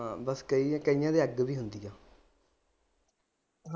ਹਾਂ ਬਸ ਕਈ ਕਈਆਂ ਦੇ ਅੱਗ ਵੀ ਹੁੰਦੀ ਆ।